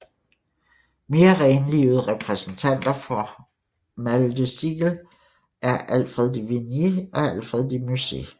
Mere renlivede repræsentanter for mal de siecle er Alfred de Vigny og Alfred de Musset